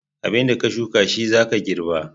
Abinda ka shuka shi zaka girba